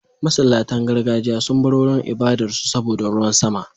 Masallatan gargajiya sun bar wurin ibadar su saboda ruwan sama.